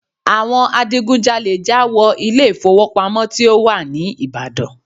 Àwọn adigunjalè já wọ ilé ìfowópamọ́ tí ó wà ní Ìbàdàn.